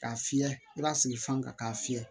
K'a fiyɛ i b'a sigi fan ka k'a fiyɛ